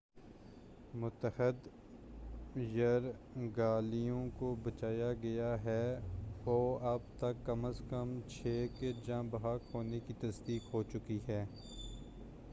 متعدد یرغمالیوں کو بچالیا گیا ہے اوع اب تک کم ازکم چھ کے جاں بحق ہونے کی تصدیق ہوچُکی ہے